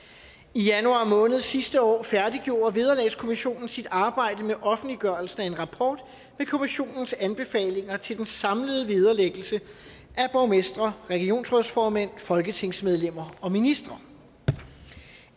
i januar måned sidste år færdiggjorde vederlagskommissionen sit arbejde med offentliggørelsen af en rapport med kommissionens anbefalinger til den samlede vederlæggelse af borgmestre regionsrådsformænd folketingsmedlemmer og ministre